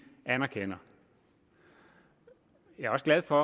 anerkender jeg er også glad for